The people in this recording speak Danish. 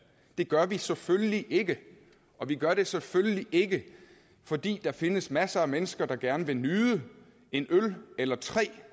det gør vi selvfølgelig ikke og vi gør det selvfølgelig ikke fordi der findes masser af mennesker der gerne vil nyde en øl eller tre